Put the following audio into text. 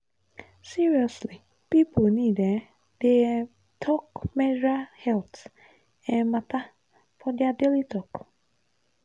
seriously people need um dey um talk menstrual health um matter for their daily talk.